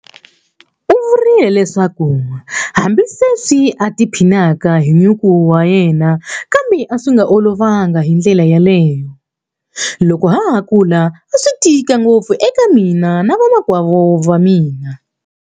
U vurile leswaku hambile sweswi a tiphinaka hi nyuku wa yena kambe a swi nga olovangi hi ndlela yaleyo. Loko ha ha kula a swi tika ngopfu eka mina na vamakwavo va mina.